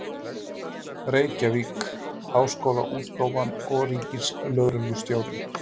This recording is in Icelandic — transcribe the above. Reykjavík: Háskólaútgáfan og Ríkislögreglustjórinn.